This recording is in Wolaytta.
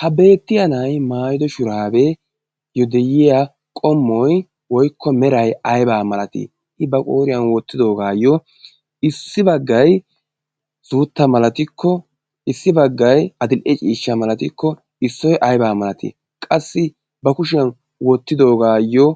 ha beettiya na'i maayido shuraabee yo de'iya qommoy woykko meray aybaa malatii? i ba qooriyan woottidoogaayyo issi baggai suutta malatikko issi baggai adil"e ciishsha malatikko issoy aybaa malatii? qassi ba kushiyan woottidoogaayyo